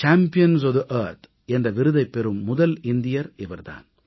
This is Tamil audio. சாம்பியன்ஸ் ஒஃப் தே ஆர்த் என்ற விருதைப் பெறும் முதல் இந்தியர் இவர் தான்